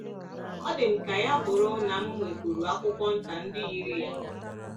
Ọ dị m ka ya bụrụ na m nwekwuru akwụkwọ nta ndị yiri ya